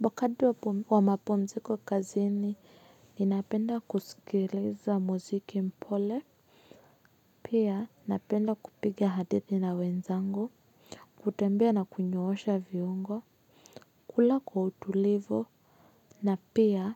Wakati wa mapumziko kazini ninapenda kuskiliza muziki mpole. Pia napenda kupiga hadithi na wenzangu. Kutembea na kunyoosha viungo. Kula kwa utulivu. Na pia